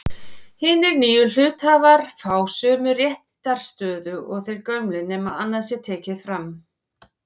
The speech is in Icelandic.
Hinir nýju hluthafar fá sömu réttarstöðu og þeir gömlu nema annað sé tekið fram.